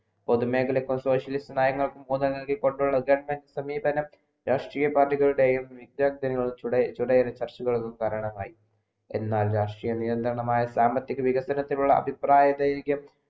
പൊതു മേഖലകൾക്ക് socialis നയങ്ങൾക്കു ഒന്നുങ്കാടെ നല്കികൊണ്ടുള്ള ജർമൻ സമീപനം രാഷ്ട്രീയ party ഒരു തരണമായി എന്നാൽ രാഷ്ട്രീയ നിയന്ത്രണമായ സാമ്പത്തിക വികസനത്തിനുള്ള അപിപ്രയ വൈക്യം